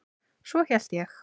Svo hélt ég.